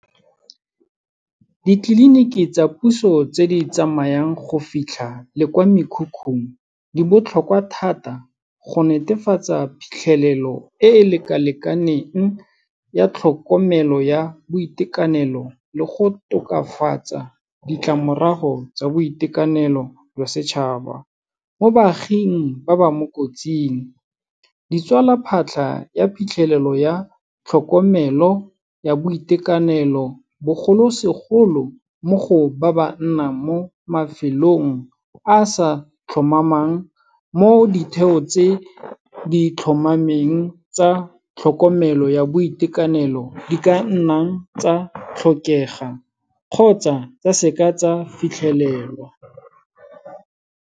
Ditleliniki tsa puso tse di tsamayang go fitlha le kwa mekhukhung, di botlhokwa thata go netefatsa phitlhelelo e e lekalekaneng ya tlhokomelo ya boitekanelo, le go tokafatsa ditlamorago tsa boitekanelo jwa setšhaba. Mo baaging ba ba mo kotsing, ditswala phatlha ya phitlhelelo ya tlhokomelo ya boitekanelo, bogolosegolo mo go ba ba nnang mo mafelong a a sa tlhomamang, mo ditheo tse di tlhomameng tsa tlhokomelo ya boitekanelo, di ka nnang tsa tlhokega kgotsa tsa seka tsa fitlhelelwa.